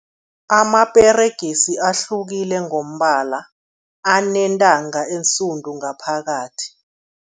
Amaperegisi ahlukile ngombala, anentanga ensundu ngaphakathi.